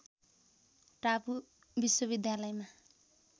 टापु विश्वविद्यालयमा